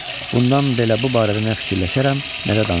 Bundan belə bu barədə nə fikirləşərəm, nə də danışaram.